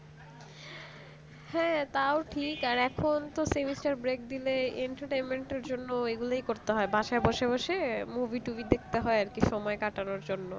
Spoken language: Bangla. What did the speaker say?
হ্যাঁ তাও ঠিক এখন তো semester break দিলে entertainment জন্য এগুলোই করতে হয় বাসায় বসে বসে movie টুবি দেখতে হয় আর কি সময় কাটানো জন্য